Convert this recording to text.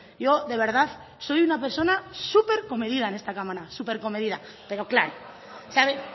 yo de verdad soy una persona súper comedida en esta cámara súper comedida pero claro sabe